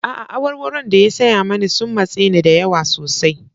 A'a, awarwaron da ya saya mani sun matse ni da yawa sosai.